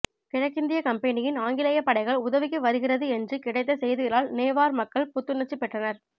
கிழக்கிந்தியக் கம்பெனியின் ஆங்கிலேயப் படைகள் உதவிக்கு வருகிறது என்று கிடைத்த செய்திகளால் நேவார் மக்கள் புத்துணர்ச்சி பெற்றனர்